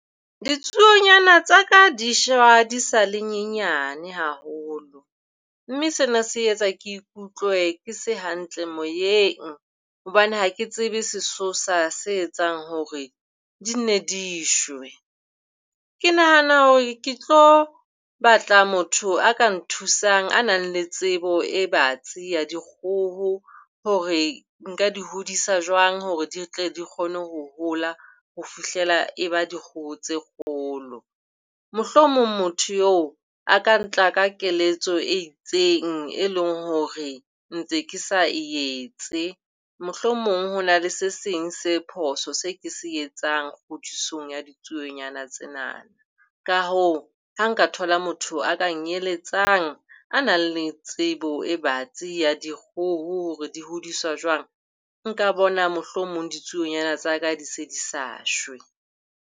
Ditsuonyana tsa ka di shwa di sa le nyenyane haholo. Mme sena se etsa ke utlwe ke se hantle moyeng hobane ha ke tsebe sesosa se etsang hore di nne di shwe. Ke nahana hore ke tlo batla motho a ka nthusang a nang le tsebo e batsi ya dikgoho hore nka di hodisa jwang hore di tle di kgone ho hola ho fihlela e ba dikgoho tse kgolo. Mohlomong motho eo a ka tla ka keletso e itseng, e leng hore ntse ke sa e etse. Mohlomong ho na le se seng se phoso se ke se etsang kgodisong ya ditsuonyana tsena. Ka hoo, ha nka thola motho a kenyeletsang a nang le tsebo e batsi ya dikgoho hore di hodiswa jwang, nka bona mohlomong ditsuonyana tsa ka di se di sa shwe.